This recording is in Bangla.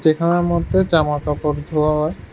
এখানের মধ্যে জামা কাপড় ধোয়া হয়।